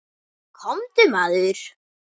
Komdu, maður.